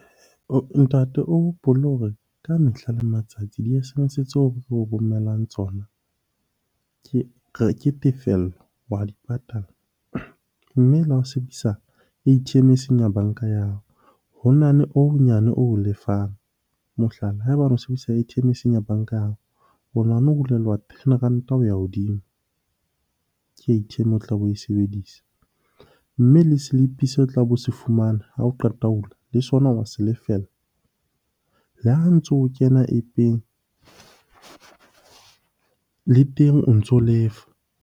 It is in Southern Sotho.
Ntate o hopole hore ka mehla le matsatsi di-S_M_S tseo re o romellang tsona ke tefello, wa di patala. Mme le ha o sebedisa A_T_M eseng ya banka ya hao, ho na le ho honyane o lefang. Mohlala, ha eba ono sebedisa A_T_M eseng ya banka ya hao, o o hulelwa ten ranta ho ya hodimo ke A_T_M o tlabe oe sebedisa. Mme le slip-e seo o tlabe o se fumana ha o qeta ho hula le sona wa se lefella. Le ha ntso o kena App-eng, le teng o ntso lefa.